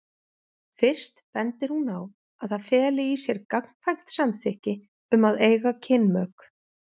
Fyrst bendir hún á að það feli í sér gagnkvæmt samþykki um að eiga kynmök.